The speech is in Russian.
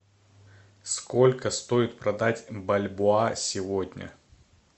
сколько стоит продать бальбоа сегодня